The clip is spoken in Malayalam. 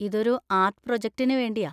ഇതൊരു ആർട്ട് പ്രൊജക്ടിന് വേണ്ടിയാ.